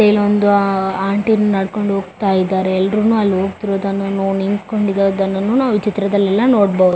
ಇಲ್ಲೊಂದು ಆಆಆ ಆಂಟಿನು ನಡಕೊಂಡು ಹೋಗತ್ತಾ ಇದಾರೆ ಎಲ್ಲರೂನು ಅಲ್ಲಿ ಹೋಗತ್ತಿರೋದನ್ನು ನೋ ನಿಂತಕೊಂಡಿರೋದನ್ನು ನಾವು ಈ ಚಿತ್ರದಲ್ಲೆಲ್ಲಾ ನೋಡ್ಬೊ --